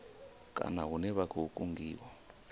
kana hune vha khou kungiwa